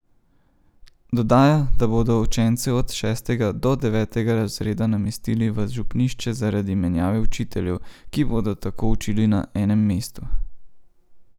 Dodaja, da bodo učence od šestega do devetega razreda namestili v župnišče zaradi menjave učiteljev, ki bodo tako učili na enem mestu.